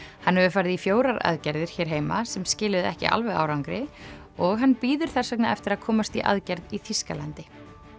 hann hefur farið í fjórar aðgerðir hér heima sem skiluðu ekki alveg árangri og hann bíður þess vegna eftir að komast í aðgerð í Þýskalandi